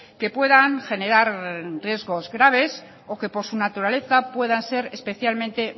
que puedan generar riegos graves o que por su naturaleza puedan ser especialmente